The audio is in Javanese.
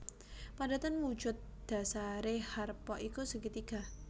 Padatan wujud dhasaré harpa iku segitiga